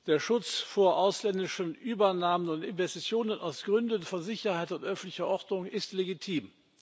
Der Schutz vor ausländischen Übernahmen und Investitionen aus Gründen von Sicherheit und öffentlicher Ordnung ist legitim.